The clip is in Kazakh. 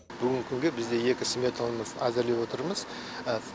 бүгінгі күнге бізде екі сметамыз әзірлеп отырмыз